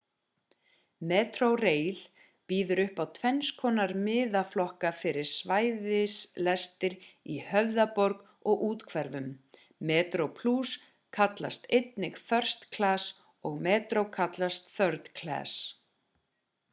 metrorail býður upp á tvennskonar miðaflokka fyrir svæðislestir í höfðaborg og úthverfum: metroplus kallast einnig first class og metro kallast third class